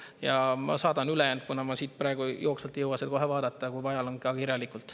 Ja ma saadan ülejäänud, kuna ma siin praegu jooksvalt ei jõua kohe vaadata, kui vaja, ka kirjalikult.